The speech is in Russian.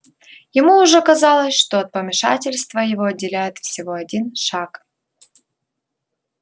ему уже казалось что от помешательства его отделяет всего один шаг